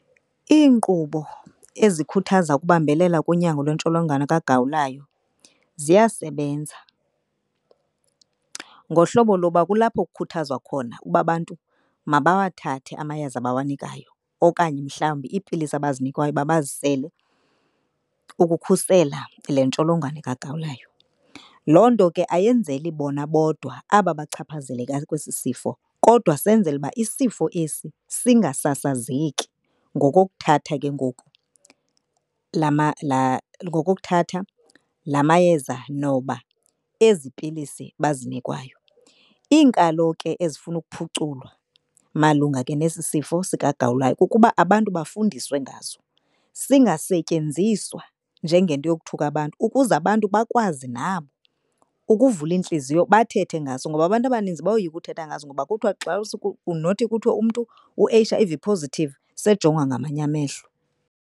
Iinkqubo ezikhuthaza ukubambelela konyango lwentsholongwane kagawulayo ziyasebenza. Ngohlobo loba kulapho kukhuthazwa khona uba abantu mabawathathe amayeza abawanikayo okanye mhlawumbi iipilisi abazinikwayo uba bazisele ukukhusela le ntsholongwane kagawulayo. Loo nto ke ayenzeli bona bodwa aba bachaphazeleka kwesi sifo kodwa senzela uba isifo esi singasasazeki ngokokuthatha ke ngoku ngokokuthatha la mayeza noba ezi pilisi bazinikwayo. Iinkalo ke ezifuna ukuphuculwa malunga ke nesi sifo sikagawulayo kukuba abantu bafundiswe ngaso. Singasetyenziswa njengento yokuthuka abantu ukuze abantu bakwazi nabo ukuvula iintliziyo bathethe ngaso. Ngoba abantu abaninzi bayoyika ukuthetha ngaso ngoba kuthiwa xa nothi kuthiwe umntu u-H_I_V positive sejongwa ngamanye amehlo.